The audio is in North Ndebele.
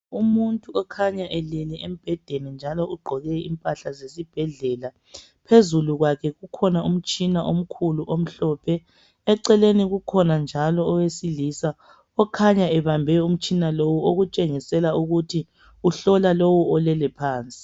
Umuntu okhanya elele embhedeni njalo ugqoke impahla zesibhedlela. Phezulu kwakhe kukhona umtshina omkhulu omhlophe. Eceleni kukhona njalo owesilisa, okhanya ebambe umtshina lowu, okutshengisela ukuthi uhlola lowu olelephansi.